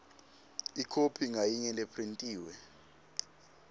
ikhophi ngayinye lephrintiwe